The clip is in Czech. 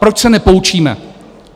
Proč se nepoučíme?